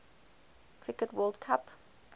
cricket world cup